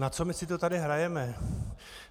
Na co my si to tady hrajeme?